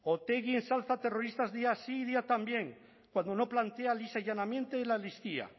otegi ensalza terroristas día sí y día también cuando no plantea lisa y llanamente la amnistía